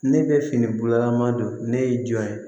Ne bɛ fini bolaman don ne ye jɔn ye